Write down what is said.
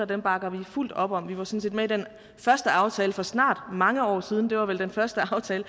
det bakker vi fuldt op om vi var sådan set med i den første aftale for snart mange år siden det var vel den første aftale